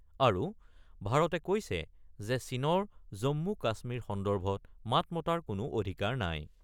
আৰু ভাৰতে কৈছে যে চীনৰ জম্মু - কাশ্মীৰ সন্দৰ্ভত মাত মতাৰ কোনো অধিকাৰ নাই ।